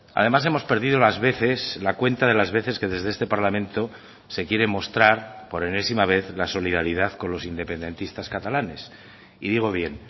además hemos perdido las veces la cuenta de las veces que desde este parlamento se quiere mostrar por enésima vez la solidaridad con los independentistas catalanes y digo bien